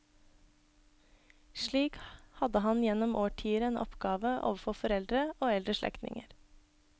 Slik hadde han gjennom årtier en oppgave overfor foreldre og eldre slektninger.